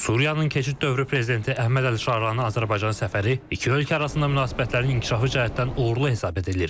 Suriyanın keçid dövrü prezidenti Əhməd Əlşaranın Azərbaycana səfəri iki ölkə arasında münasibətlərin inkişafı cəhətdən uğurlu hesab edilir.